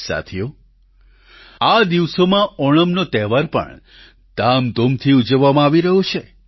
સાથીઓ આ દિવસોમાં ઓણમનો તહેવાર પણ ધામધૂમથી ઉજવવામાં આવી રહ્યો છે